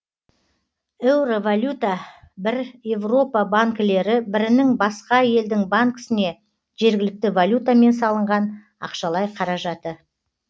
еуровалюта бір еуропа банкілері бірінің басқа елдің банкісіне жергілікті валютамен салынған ақшалай қаражаты